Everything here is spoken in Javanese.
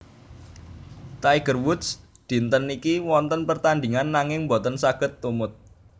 Tiger Woods dinten niki wonten pertandingan nanging mboten saget tumut